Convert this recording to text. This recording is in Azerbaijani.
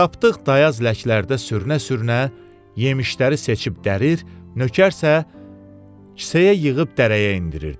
Tapdıq dayaz ləklərdə sürünə-sürünə yemişləri seçib dərir, nökər isə kisəyə yığıb dərəyə endirirdi.